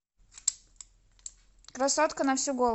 красотка на всю голову